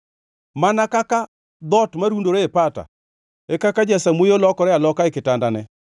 Mana kaka dhoot marundore e pata, e kaka jasamuoyo lokore aloka e kitandane.